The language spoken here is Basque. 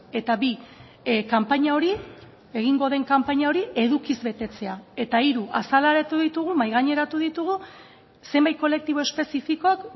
eta bi kanpaina hori egingo den kanpaina hori edukiz betetzea eta hiru azaleratu ditugu mahai gaineratu ditugu zenbait kolektibo espezifikok